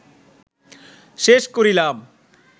শেষ করিলাম